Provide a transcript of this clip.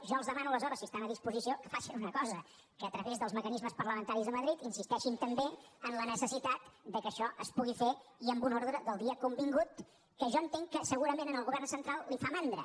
jo els demano aleshores si estan a disposició que facin una cosa que a través dels mecanismes parlamentaris a madrid insisteixin també en la necessitat que això es pugui fer i amb un ordre del dia convingut que jo entenc que segurament al govern central li fa mandra